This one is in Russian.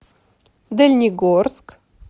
дальнегорск